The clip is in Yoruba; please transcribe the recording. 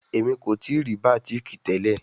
Emi ko tii ri batik tẹlẹ